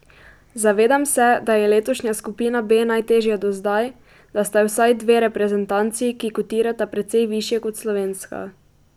Zavedam se, da je letošnja skupina B najtežja do zdaj, da sta vsaj dve reprezentanci, ki kotirata precej višje kot slovenska.